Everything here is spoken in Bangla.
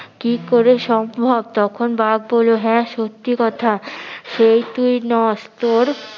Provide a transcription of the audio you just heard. কি করে সম্ভব তখন বাঘ বললো হ্যাঁ সত্যি কথা সেই তুই নস তোর